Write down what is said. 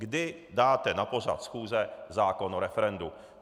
Kdy dáte na pořad schůze zákon o referendu.